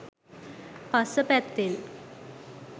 පස්ස පැත්තෙන්.